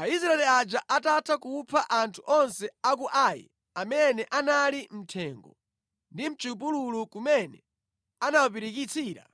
Aisraeli aja atatha kupha anthu onse a ku Ai amene anali mʼthengo ndi mʼchipululu kumene anawapirikitsira,